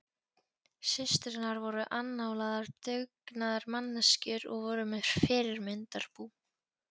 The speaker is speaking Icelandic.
Systurnar voru annálaðar dugnaðarmanneskjur og voru með fyrirmyndarbú.